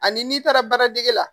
Ani n'i taara baaradege la